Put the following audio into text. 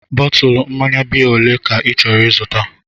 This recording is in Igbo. Bọtụlu mmanya biya olee ka ị chọrọ ịzụta?